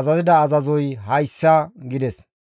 azazida azazoy hayssa» gides.